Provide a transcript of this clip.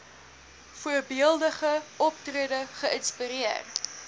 voorbeeldige optrede geïnspireer